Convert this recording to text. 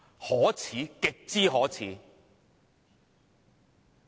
可耻，極之可耻。